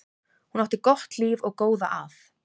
Hún átti gott líf og góða að.